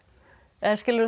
eða skilurðu